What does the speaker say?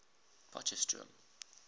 potchefstroom